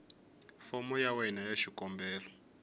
fomo ya wena ya xikombelo